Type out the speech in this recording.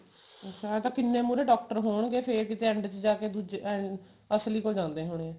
ਐਂ ਤਾਂ ਕਿੰਨੇ ਮੁਹਰੇ ਡਾਕਟਰ ਹੋਣਗੇ ਫੇਰ ਕਿਤੇ end ਚ ਜਾਕੇ ਦੁੱਜੇ ਅਸਲੀ ਕੋਲ ਜਾਂਦੇ ਹੋਣੇ